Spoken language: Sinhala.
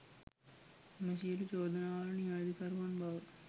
එම සියලු චෝදනාවලට නිවැරදිකරුවන් බව